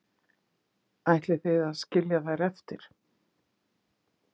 Ætlið þið að skilja þær eftir?